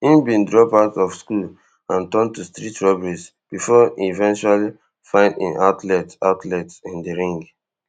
im bin drop out of school and turn to street robberies bifor e eventually find im outlet outlet in di ring